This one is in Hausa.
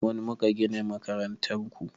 Mu muka gina makarantar ku